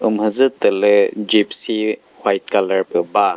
umhüdzütülü gypsy white colour pü ba.